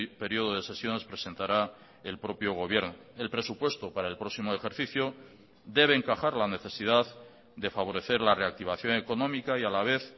periodo de sesiones presentará el propio gobierno el presupuesto para el próximo ejercicio debe encajar la necesidad de favorecer la reactivación económica y a la vez